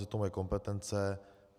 Je to moje kompetence.